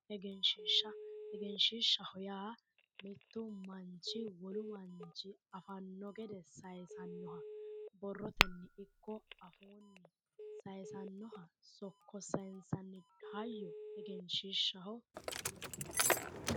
Egenshiishsha, egenshiishshaho yaa mittu manchi wolu manchi afanno gede sayisannoha borrotenni ikko afuunni sokko sayisannoha sokko sayinsanni hayyo egenshiishshaho.